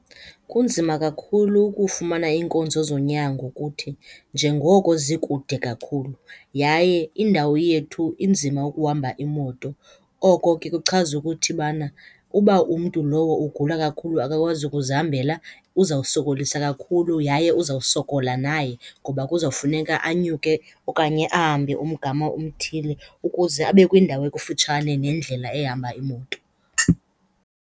Kunzima kakhulu ukufumana iinkonzo zonyango kuthi njengoko zikude kakhulu, yaye indawo yethu inzima ukuhamba imoto. Oko ke kuchaza ukuthi bana uba umntu lowo ugula kakhulu, akakwazi ukuzihambela uzawusokolisa kakhulu yaye uzawusokola naye ngoba kuzawufuneka anyuke okanye ahambe umgama omthile ukuze abe kwindawo ekufutshane nendlela ehamba iimoto.